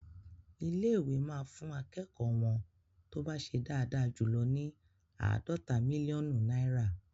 Ilé-ìwé máa fún akẹ́kọ̀ọ́ wọ́n tó bá ṣe dáadáa jù ní àádọ́ta mílíọ́nù náìrà..